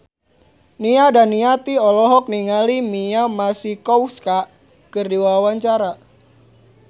Nia Daniati olohok ningali Mia Masikowska keur diwawancara